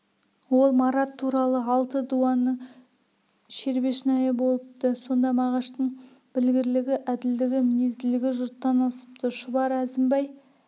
ол марат туралы алты дуанның шербешнайы болыпты сонда мағаштың білгірлігі әділдігі мінезділігі жұрттан асыпты шұбар әзімбай